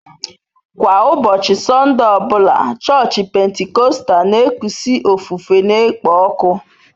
Kwa ụbọchị Sọnde ọ bụla, chọọchị Pentikọstal na-ekusi ofufe na-ekpo ọkụ.